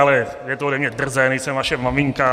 Ale je to ode mě drzé, nejsem vaše maminka.